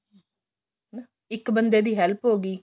ਇੱਕ ਬੰਦੇ ਦੀ help ਹੋ ਗਈ